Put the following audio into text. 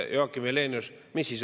Mis siis oli?